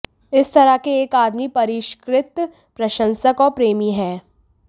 इस तरह के एक आदमी परिष्कृत प्रशंसक और प्रेमी है